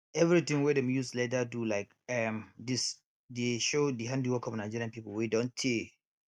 every ting wey dem use leather um do like um dis dey show di handiwork of nigeria people wey don tey